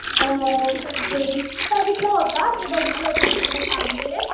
मी बघितलं होतं मी बघितलं होतं ते तुला सांगते.